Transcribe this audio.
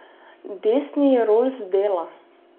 Desni Rolls dela.